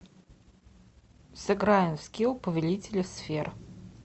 сыграем в скилл повелители сфер